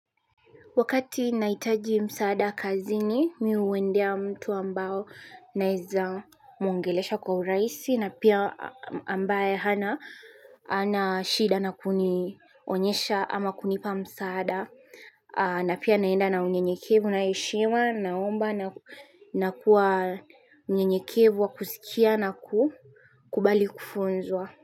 Wakati nahitaji msaada kazi ni mi huendea mtu ambao naeza mwongelesha kwa urahisi na pia ambaye hana hana shida na kunionyesha ama kunipa msaada. Na pia naenda na unyenyekevu na heshima naomba na kuwa mnyenyekevu wa kusikia na kukubali kufunzwa.